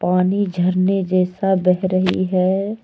पानी झरने जैसा बह रही है।